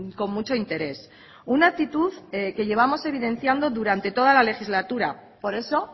con mucho interés una actitud que llevamos evidenciando durante toda las legislatura por eso